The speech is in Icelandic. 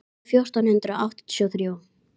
númer fjórtán hundruð áttatíu og þrjú.